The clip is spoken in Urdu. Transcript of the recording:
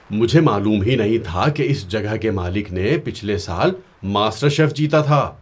مجھے معلوم ہی نہیں تھا کہ اس جگہ کے مالک نے پچھلے سال ماسٹر شیف جیتا تھا!